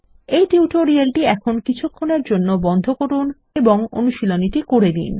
এই টিউটোরিয়ালটি এখন কিছুক্ষণের জন্য বন্ধ করুন এবং অনুশীলনীটি করে নিন